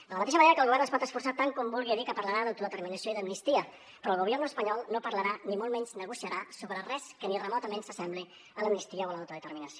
de la mateixa manera que el govern es pot esforçar tant com vulgui a dir que parlarà d’autodeterminació i d’amnistia però el gobierno espanyol no parlarà ni molt menys negociarà sobre res que ni remotament s’assembli a l’amnistia o a l’autodeterminació